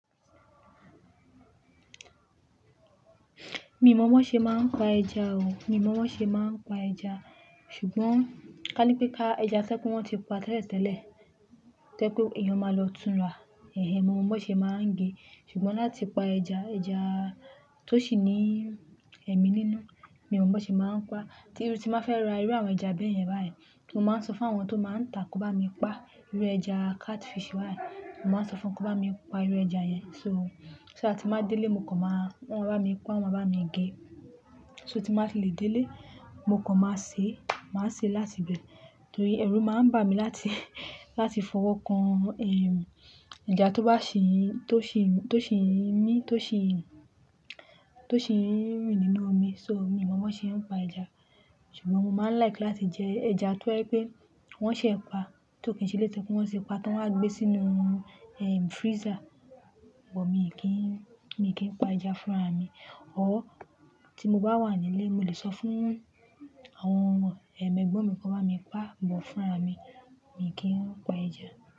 Mi ò mọ̀ bi wọ́n ṣe máa ń pa ẹja o. Mi ò mọ̀ bi wọ́n ṣe máa ń pa ẹja. Ṣùgbọ́n ká ní pé ẹja tí wọ́n ti pa tẹ́lẹ̀ tẹ́lẹ̀, tí oje pe ẹniyan máa lọ tún rà. Mo mọ̀ bi wọ́n ṣe máa ń gẹ. Ṣùgbọ́n láti pa ẹja, ẹja tó sì ní ẹ̀mí nínú, mi ò mọ̀ wọ́n ṣe máa ń pa. Tíru timbá fẹ́ ra irú àwọn ẹja báyẹn báyìí, mo máa ń sọ fún àwọn tó máa ń ta kó bá mi pa irú ẹja catfish báyìí. Mo máa ń sọ fún wọn kó bá mi pa irú ẹja yẹn. So, tí mo bá délé, mo kàn máa wọ́n máa bá mi pa, wọ́n máa bá mi gẹ. So tí mo bá fi lè délé, mo kàn máa ṣe, máa ṣe láti ibẹ̀. Torí ẹrù máa ń bà mí láti, láti fọwọ́ kan, ẹja tó sì ń mí, tó sì ń rìn nínú omi. So mi ò mọ̀ bi wọ́n ṣe ń pa ẹja. Ṣùgbọ́n mo máa ń like láti jẹ ẹja tí wọ́n ṣe pa, tí ò kí n se éleyití wọ́n ti pa, tí wọ́n wá gbé sínú freezer. But mi kìn, mi kì í pa ẹja fúnra mi. Tí mo bá wà nílé, mo lè sọ fún àwọn ẹ̀mẹgbọ́n mi kó bá mi pa, bọ̀ fúnra mi. Mi kì í ń pa ẹja.